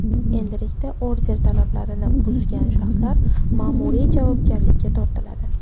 Endilikda order talablarini buzgan shaxslar ma’muriy javobgarlikka tortiladi.